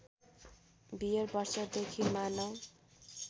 beer वर्षदेखि मानव